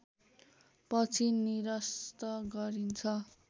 पछि निरस्त गरिन्छ